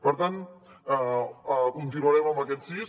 per tant continuarem amb aquests sís